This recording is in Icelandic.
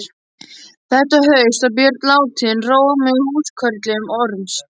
Þetta haust var Björn látinn róa með húskörlum Orms.